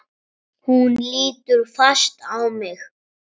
Hún lítur fast á mig.